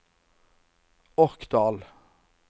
Orkdal